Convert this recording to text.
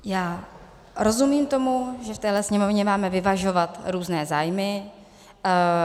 Já rozumím tomu, že v téhle sněmovně máme vyvažovat různé zájmy.